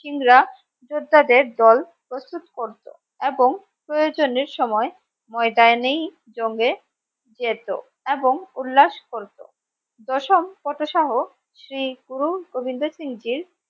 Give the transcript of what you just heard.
সিং রা যোদ্ধা দের দল প্রস্তুত করতো এবং প্রয়োজনের সময় ময়দানে ই জঙ্গ এ যেত এবং উল্লাস করতো দশম পথসহ শ্রী গুরু গোবিন্দ সিং জীর